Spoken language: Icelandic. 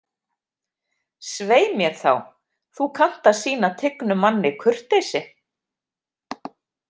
Svei mér þá, þú kannt að sýna tignum manni kurteisi